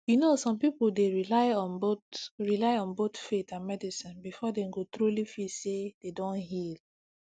you know some people dey rely on both rely on both faith and medicine before dem go truly feel say dem don heal